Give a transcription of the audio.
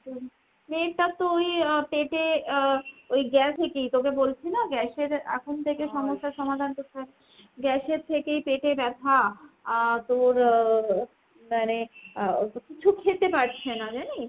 মেয়েটার তো ওই আহ পেটে আহ ওই গ্যা থেকেই তোকে বলছি না gas এর এখন থেকে সমাধান করতে হয়। gas এর থেকেই পেতে ব্যথা। আর তোর মানে কিছু খেতে পারছে না জানিস ?